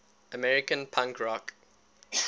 american punk rock